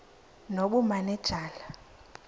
nobumanejala